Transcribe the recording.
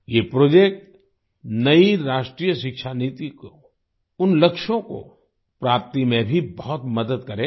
ये प्रोजेक्ट नई राष्ट्रीय शिक्षा नीति को उन लक्ष्यों को प्राप्ति में भी बहुत मदद करेगा